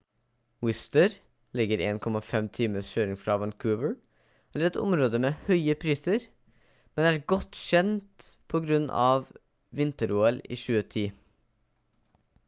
whistler ligger 1,5 times kjøring fra vancouver er et område med høye priser men er godt kjent på grunn av vinter-ol i 2010